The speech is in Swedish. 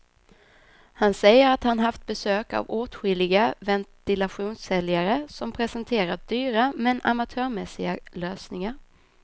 Han säger att han haft besök av åtskilliga ventilationssäljare som presenterat dyra men amatörmässiga lösningar.